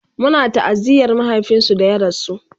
Muna ta'aziyar mahaifinsu da ya rasu